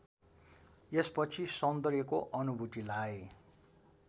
यसपछि सौन्दर्यको अनुभूतिलाई